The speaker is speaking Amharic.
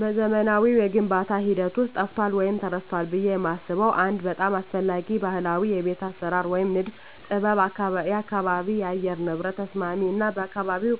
በዘመናዊው የግንባታ ሂደት ውስጥ ጠፍቷል ወይም ተረስቷል ብዬ የማስበው አንድ በጣም አስፈላጊ ባህላዊ የቤት አሰራር ወይም የንድፍ ጥበብ የአካባቢ የአየር ንብረት ተስማሚ እና ለአካባቢው